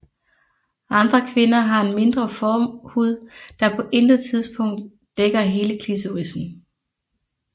Andre kvinder har en mindre forhud der på intet tidspunkt dækker hele klitorisen